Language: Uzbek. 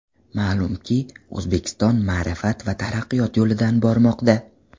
Ma’lumki, O‘zbekiston ma’rifat va taraqqiyot yo‘lidan bormoqda.